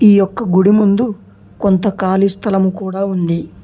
ఈ యొక్క గుడి ముందు కొంత కాళీ స్థలం కూడ ఉంది.